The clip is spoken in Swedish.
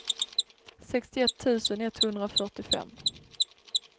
sextioett tusen etthundrafyrtiofem